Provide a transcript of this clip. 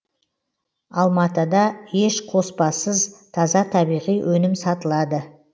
алматада еш қоспасыз таза табиғи өнім сатылады